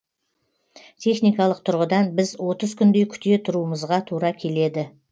техникалық тұрғыдан біз отыз күндей күте тұруымызға тура келеді